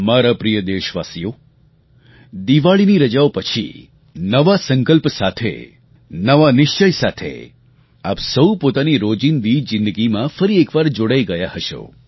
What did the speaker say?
મારા પ્રિય દેશવાસીઓ દિવાળીની રજાઓ પછી નવા સંકલ્પ સાથે નવા નિશ્ચય સાથે આપ સહુ પોતાની રોજિંદી જિંદગીમાં ફરી એક વાર જોડાઈ ગયા હશો